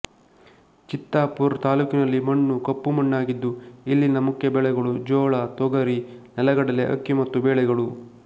ಚಿತ್ತಾಪುರ್ ತಾಲ್ಲೂಕಿನಲ್ಲಿ ಮಣ್ಣು ಕಪ್ಪು ಮಣ್ಣಾಗಿದ್ದು ಇಲ್ಲಿನ ಮುಖ್ಯ ಬೆಳೆಗಳು ಜೋಳ ತೊಗರಿ ನೆಲಗಡಲೆ ಅಕ್ಕಿ ಮತ್ತು ಬೇಳೆಗಳು